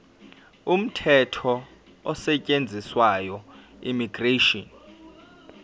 umthetho osetshenziswayo immigration